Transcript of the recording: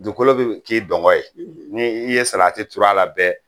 Dugukolo bɛ k'i dungɔ ye, , ni i ye salati tur'a la bɛɛ